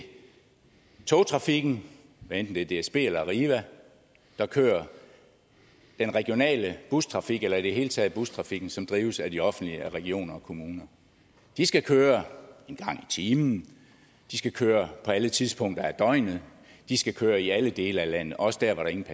togtrafikken hvad enten det er dsb eller arriva der kører og den regionale bustrafik eller i det hele taget bustrafikken som drives af det offentlige af regioner og kommuner de skal køre en gang i timen de skal køre på alle tidspunkter af døgnet de skal køre i alle dele af landet også der hvor der ingen